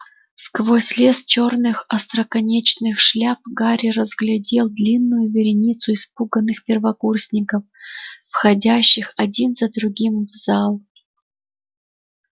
сквозь лес чёрных остроконечных шляп гарри разглядел длинную вереницу испуганных первокурсников входящих один за другим в зал